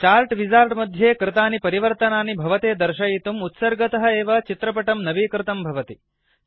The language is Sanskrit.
चार्ट् विजार्ड मध्ये कृतानि परिवर्तनानि भवते दर्शयितुम् उत्सर्गतः एव चित्रपटं नवीकृतंअप् डेट् भवति